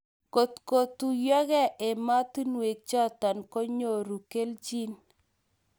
Ngot kotuyakee ematinwek chaton konyorun kilchin